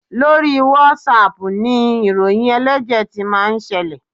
Lórí WhatsApp ni ìròyìn ẹlẹ́jẹ̀ ti máa ń ṣẹlẹ̀.